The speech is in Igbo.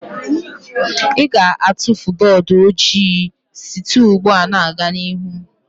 Ị ga-atụfu bọọdụ ojii site ugbu a gaa n'ihu.